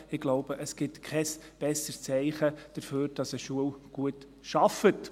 Ich glaube, es gibt kein besseres Zeichen dafür, dass eine Schule gut arbeitet.